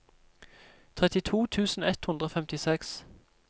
trettito tusen ett hundre og femtiseks